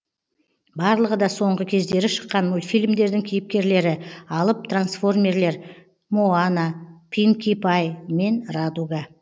барлығы да соңғы кездері шыққан мультфильмдердің кейіпкерлері алып трансформерлер моана пинки пай мен радуга